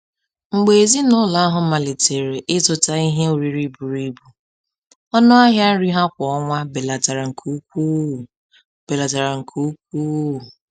Mgbe ezinụlọ ahụ malitere ịzụta ihe oriri buru ibu, ọnụ ahịa nri ha kwa ọnwa belatara nke ukwuu belatara nke ukwuu